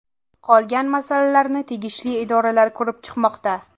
Qolgan masalalarni tegishli idoralar ko‘rib chiqmoqda.